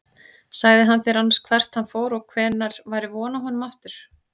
Sagði hann þér annars hvert hann fór og hvenær væri von á honum aftur?